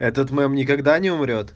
этот мем никогда не умрёт